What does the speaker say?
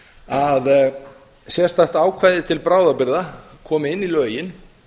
að sérstakt ákvæði til bráðabirgða komi inn í lögin